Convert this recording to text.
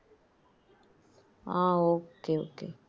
ah okay okay